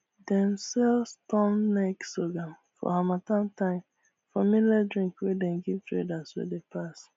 dem sell storm neck sorghum for harmattan time for millet drink wey dem give traders wey dey pass